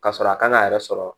Ka sɔrɔ a kan k'a yɛrɛ sɔrɔ